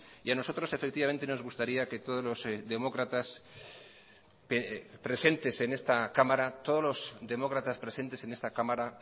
y a nosotros nos gustaría que todos los demócratas presentes en esta cámara